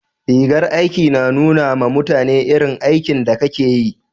rigar aiki na nuna ma mutane irin aikin da Ka ke yi